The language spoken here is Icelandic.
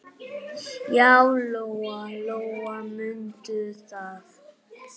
Já, Lóa-Lóa mundi það.